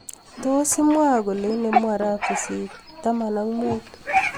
Tos imwa kolee inemu arap sisit taman ak muut